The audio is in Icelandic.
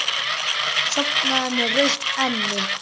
Sofnaði með rautt enni.